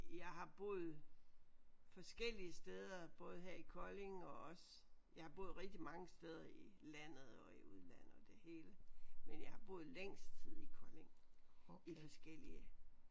Jeg har boet forskellige steder både her i Kolding og også jeg har boet rigtig mange steder i landet og i udlandet og det hele men jeg har boet længst tid i Kolding i forskellige